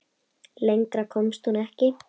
Lengra komst hún ekki.